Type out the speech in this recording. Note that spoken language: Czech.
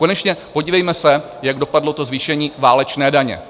Konečně podívejme se, jak dopadlo to zvýšení válečné daně.